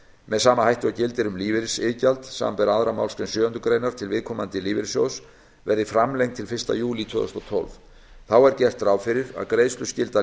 með sama hætti og gildir um lífeyrisiðgjald samanber aðra málsgrein sjöundu greinar til viðkomandi lífeyrissjóðs verði framlengd til fyrsta júlí tvö þúsund og tólf þá er gert ráð fyrir að greiðsluskylda